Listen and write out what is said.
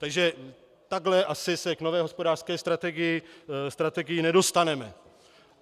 Takže takhle asi se k nové hospodářské strategii nedostaneme.